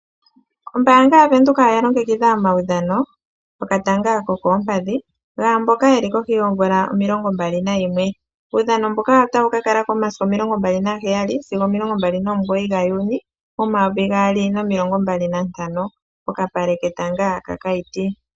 Ombaanga yaVenduka oya longekidha omaudhano gokatanga ko koompadhi, kaamboka yeli kohi yoomvula omilongombali nayimwe. Uudhano mbuka otawu ka kalako momasiku omilongombali naheyali sigo omilongombali nomugoyi gaJuni 2025 pokapale ketanga kaKaiti.